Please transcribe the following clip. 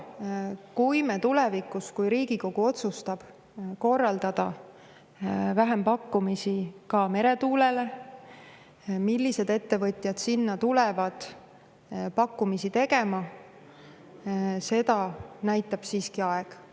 Kui Riigikogu otsustab tulevikus korraldada vähempakkumisi ka meretuule, siis seda, millised ettevõtjad hakkavad pakkumisi tegema, näitab siiski aeg.